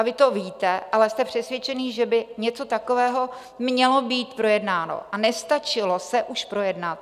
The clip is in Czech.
A vy to víte, ale jste přesvědčeni, že by něco takového mělo být projednáno, a nestačilo se už projednat.